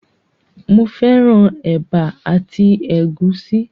Mo fẹ́ràn ẹ̀bà àti ẹ̀gúsí